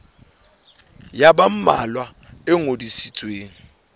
ya ba mmalwa e ngodisitsweng